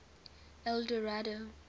eldorado